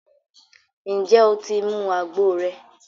ǹjẹ́ o ti mu àgbo rẹ?